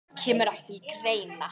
Kemur ekki til greina.